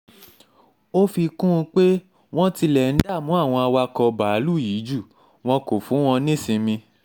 ó fi kún un pé wọ́n tilẹ̀ ń dààmú àwọn awakọ̀ báàlúù yìí jù wọ́n kó fún wọn nísinmi